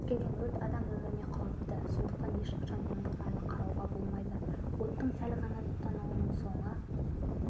кез келген өрт адам өміріне қауіпті сондықтан ешқашан немқұрайлы қарауға болмайды оттың сәл ғана тұтануының соңы